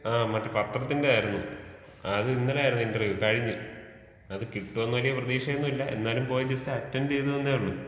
ആ മറ്റെ പത്രത്തിന്റെ ആയിരുന്നു അത് ഇന്നലെ ആയിരുന്നു ഇന്റർവ്യൂ കഴിഞ്ഞു അത് കിട്ടോന്ന് വലിയ പ്രതീക്ഷയൊന്നുല്ല എന്നാലും പോയി ജസ്റ്റ് അറ്റന്‍ഡ് ചെയ്തെന്നേ ഉള്ളു.